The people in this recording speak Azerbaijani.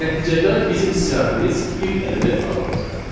Nəticədə bizim siyahimiz bir element azalacaq.